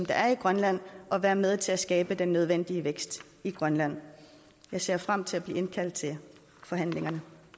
der er i grønland og være med til at skabe den nødvendige vækst i grønland jeg ser frem til at blive indkaldt til forhandlingerne